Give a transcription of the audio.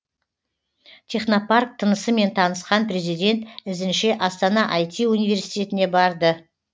технопарк тынысымен танысқан президент ізінше астана ай ти университетіне барды